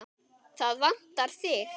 Það vantar þig.